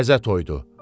Təzə toydur.